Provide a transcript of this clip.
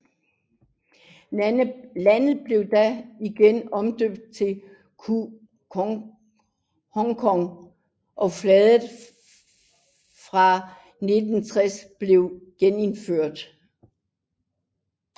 Landet blev da igen omdøbt til Congo og flaget fra 1960 blev genindført